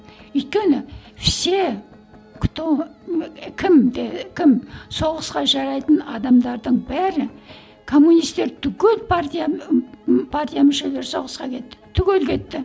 өйткені все кто і кімде кім соғысқа жарайтын адамдардың бәрі коммунистер түгел партия ы партия мүшелері соғысқа кетті түгел кетті